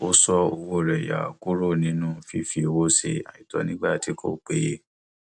ó ṣọ owó rẹ yà kúrò nínú fífi owó ṣe àìtọ nígbà tí kò péye